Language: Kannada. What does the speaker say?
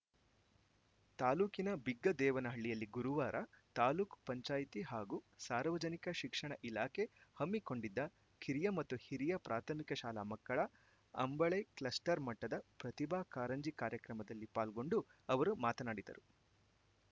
ತಾಲೂಕಿನ ಬಿಗ್ಗದೇವನಹಳ್ಳಿಯಲ್ಲಿ ಗುರುವಾರ ತಾಲೂಕು ಪಂಚಾಯಿತಿ ಹಾಗೂ ಸಾರ್ವಜನಿಕ ಶಿಕ್ಷಣ ಇಲಾಖೆ ಹಮ್ಮಿಕೊಂಡಿದ್ದ ಕಿರಿಯ ಮತ್ತು ಹಿರಿಯ ಪ್ರಾಥಮಿಕ ಶಾಲಾ ಮಕ್ಕಳ ಅಂಬಳೆ ಕ್ಲಸ್ಟರ್‌ ಮಟ್ಟದ ಪ್ರತಿಭಾ ಕಾಂರಂಜಿ ಕಾರ್ಯಕ್ರಮದಲ್ಲಿ ಪಾಲ್ಗೊಂಡು ಅವರು ಮಾತನಾಡಿದರು